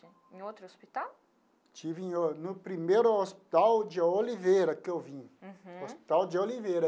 Em outro hospital? Estive em o no primeiro Hospital de Oliveira que eu vim. Uhum. Hospital de Oliveira.